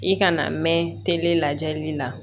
I kana mɛn le lajɛli la